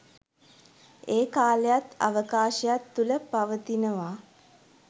ඒ කාලයත් අවකාශයත් තුළ පවතිනවා